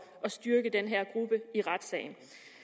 at styrke den her gruppe i retssagen